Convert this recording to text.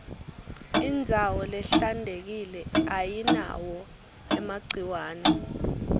indzawo lehlantekile ayinawo emagciwane